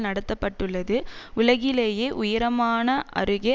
நடத்தபட்டுள்ளதுஉலகிலேயே உயரமான அருகே